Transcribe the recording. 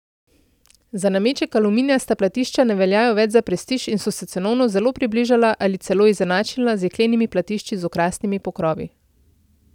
Za nameček aluminijasta platišča ne veljajo več za prestiž in so se cenovno zelo približala ali celo izenačila z jeklenimi platišči z okrasnimi pokrovi.